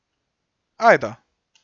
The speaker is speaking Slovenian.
Ajdo.